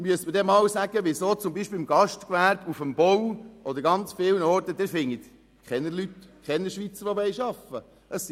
Man müsste mir auch einmal erklären, weshalb sich beispielsweise im Gastgewerbe, auf dem Bau oder an sehr vielen Orten keine Schweizer arbeiten wollen.